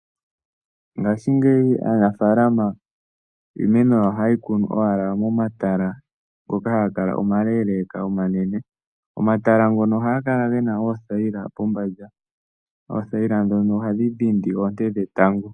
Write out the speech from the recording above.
Ngaashingeyi aanafaalama iimeno oha yeyi kunu owala momatala ngoka haga kala omaleeleeka omanene. Omatala ngono ohaga kala gena oothayila pombanda, oothayila ndhono ohadhi dhindi oonte dhetango.